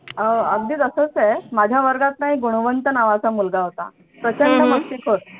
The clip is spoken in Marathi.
अह अगदी तसच आहे माझ्या वर्गात ना एक गुणवंत नावाचा मुलगा होता प्रचंड मस्तीखोर